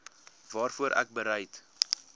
waarvoor ek bereid